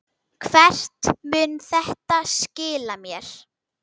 Hvert mun þetta skila mér?